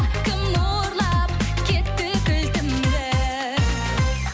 кім ұрлап кетті кілтімді